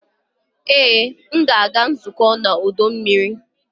Ee! M ga-aga nzukọ n'ọdọ mmiri.